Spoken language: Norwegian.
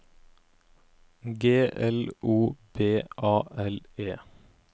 G L O B A L E